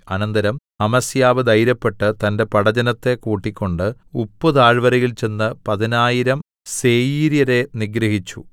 അനന്തരം അമസ്യാവ് ധൈര്യപ്പെട്ട് തന്റെ പടജ്ജനത്തെ കൂട്ടിക്കൊണ്ട് ഉപ്പുതാഴ്വരയിൽ ചെന്ന് പതിനായിരം സേയീര്യരെ നിഗ്രഹിച്ചു